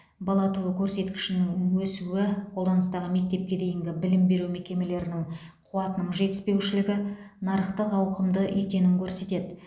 бала туу көрсеткішінің өсуі қолданыстағы мектепке дейінгі білім беру мекемелерінің қуатының жетіспеушілігі нарықтың ауқымды екенін көрсетеді